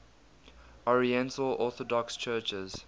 oriental orthodox churches